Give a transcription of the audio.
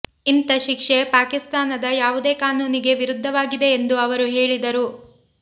ಇಂಥ ಶಿಕ್ಷೆ ಪಾಕಿಸ್ತಾನದ ಯಾವುದೇ ಕಾನೂನಿಗೆ ವಿರುದ್ಧವಾಗಿದೆ ಎಂದು ಅವರು ಹೇಳಿದರು